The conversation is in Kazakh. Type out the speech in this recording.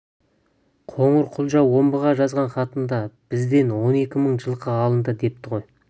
қоңырқұлжа омбыға жазған хатында бізден он екі мың жылқы алынды депті ғой